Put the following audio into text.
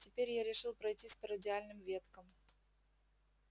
теперь я решил пройтись по радиальным веткам